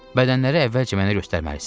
Bədənləri əvvəlcə mənə göstərməlisiz.